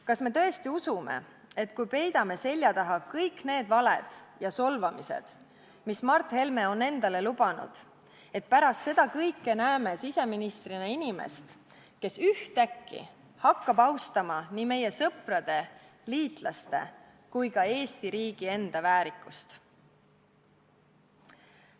Kas me tõesti usume, et kui peidame selja taha kõik need valed ja solvangud, mida Mart Helme on endale lubanud, siis pärast kõike seda näeme siseministrina inimest, kes ühtäkki hakkab austama nii meie sõprade, liitlaste kui ka Eesti enda väärikust?